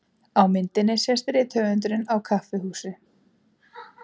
Á myndinni sést rithöfundurinn á kaffihúsi.